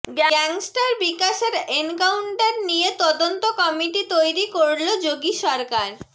gangster বিকাশের encounter নিয়ে তদন্ত কমিটি তৈরি করল যোগী সরকার